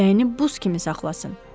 Ürəyini buz kimi saxlasın.